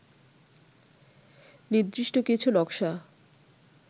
নির্দিষ্ট কিছু নকশা